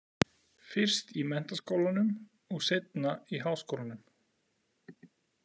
Fyrst í menntaskólanum og seinna í háskólanum.